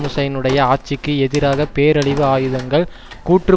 ஹுசைனுடைய ஆட்சிக்கு எதிராக பேரழிவு ஆயுதங்கள் கூற்று